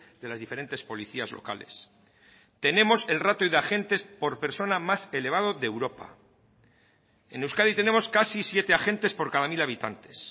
de las diferentes policías locales tenemos el ratio de agentes por persona más elevado de europa en euskadi tenemos casi siete agentes por cada mil habitantes